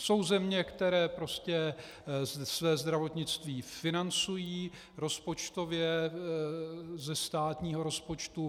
Jsou země, které prostě své zdravotnictví financují rozpočtově ze státního rozpočtu.